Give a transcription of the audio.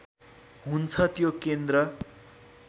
हुन्छ त्यो केन्द्र